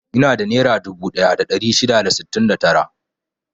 Ina da nera dubu ɗaya da ɗari shida da sittin da tara.